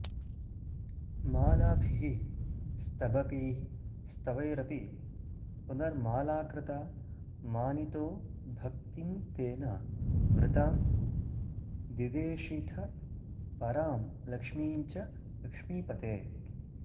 मालाभिः स्तबकैः स्तवैरपि पुनर्मालाकृता मानितो भक्तिं तेन वृतां दिदेशिथ परां लक्ष्मीं च लक्ष्मीपते